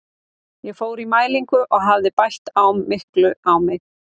Ég fór í mælingu og hafði bætt of miklu á mig.